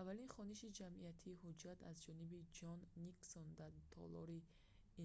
аввалин хониши ҷамъиятии ҳуҷҷат аз ҷониби ҷон никсон дар толори